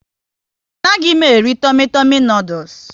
A naghị m eri Tumi Tumi noodules